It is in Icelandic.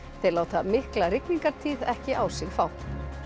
þeir láta mikla ekki á sig fá